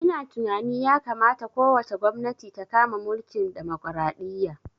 Ina tunani ya kamata ko wace gwamnati ta kama mulkin demokaraɗiya